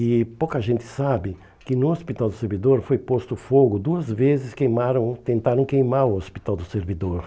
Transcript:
E pouca gente sabe que no Hospital do Servidor foi posto fogo, duas vezes queimaram tentaram queimar o Hospital do Servidor.